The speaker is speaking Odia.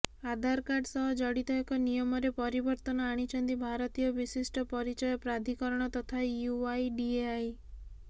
ଆଧାରକାର୍ଡ ସହ ଜଡିତ ଏକ ନିୟମରେ ପରିବର୍ତ୍ତନ ଆଣିଛନ୍ତି ଭାରତୀୟ ବିଶିଷ୍ଟ ପରିଚୟ ପ୍ରାଧୀକରଣ ତଥା ୟୁଆଇଡିଏଆଇ